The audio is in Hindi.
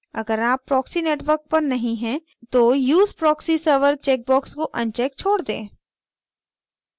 अगर आप proxy network पर नहीं हैं तो use proxy server check box को अनचेक छोड़ दें